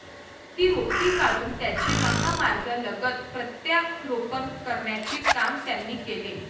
ती रोपटी काढून त्याचे महामार्गालगत प्रत्यारोपण करण्याचे काम त्यांनी केले.